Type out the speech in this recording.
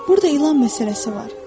burda ilan məsələsi var.